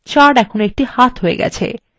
cursor এখন একটি হাত হয়ে গেছে